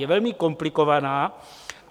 Je velmi komplikovaná.